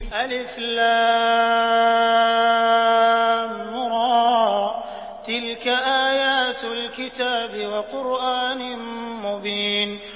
الر ۚ تِلْكَ آيَاتُ الْكِتَابِ وَقُرْآنٍ مُّبِينٍ